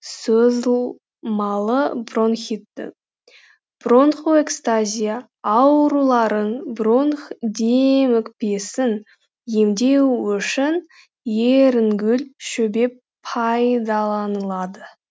созылмалы бронхитті бронхоэкстазия ауруларын бронх демікпесін емдеу үшін ерінгүл шөбі пайдаланылады